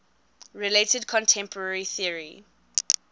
related contemporary theory